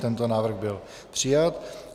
Tento návrh byl přijat.